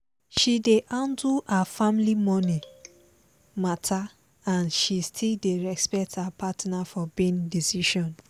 she dey handle her family money matter and she still dey respect her partner for big decision